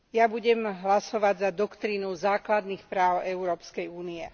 Budem hlasovať za doktrínu základných práv Európskej únie.